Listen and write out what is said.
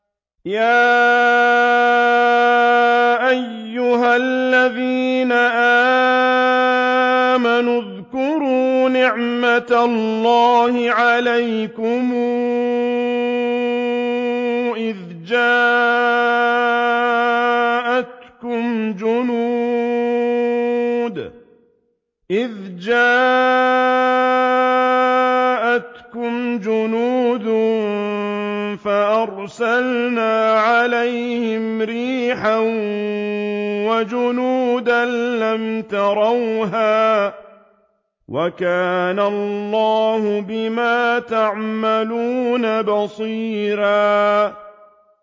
يَا أَيُّهَا الَّذِينَ آمَنُوا اذْكُرُوا نِعْمَةَ اللَّهِ عَلَيْكُمْ إِذْ جَاءَتْكُمْ جُنُودٌ فَأَرْسَلْنَا عَلَيْهِمْ رِيحًا وَجُنُودًا لَّمْ تَرَوْهَا ۚ وَكَانَ اللَّهُ بِمَا تَعْمَلُونَ بَصِيرًا